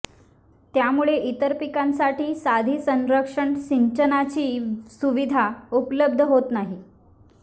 त्यामुळे इतर पिकांसाठी साधी संरक्षक सिंचनाची सुविधाही उपलब्ध होत नाही